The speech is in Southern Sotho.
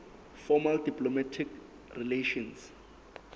formal diplomatic relations